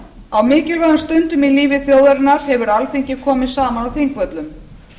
á mikilvægum stundum í lífi þjóðarinnar hefur alþingi komið saman á þingvöllum